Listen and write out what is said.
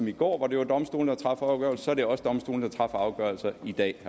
i går hvor det var domstolene der træffer afgørelser er det også domstolene der træffer afgørelser i dag